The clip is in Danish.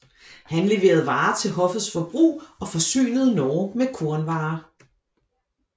Han leverede varer til hoffets forbrug og forsynede Norge med kornvarer